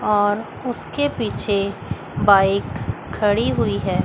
और उसके पीछे बाइक खड़ी हुई है।